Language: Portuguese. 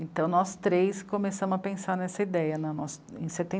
Então, nós três começamos a pensar nessa ideia na nos... em seten...